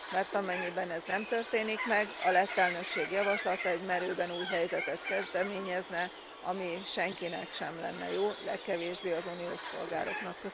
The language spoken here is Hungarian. Mert amennyiben ez nem történik meg, a lett elnökség javaslata egy merőben új helyzetet kezdeményezne, ami senkinek sem lenne jó, legkevésbé az uniós polgároknak.